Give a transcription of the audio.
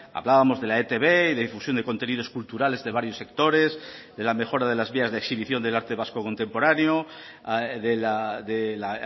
hablábamos de la etb y de difusión de contenidos culturales de varios sectores de la mejora de las vías de exhibición del arte vasco contemporáneo del